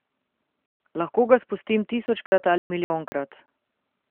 Lahko ga spustim tisočkrat ali milijonkrat ...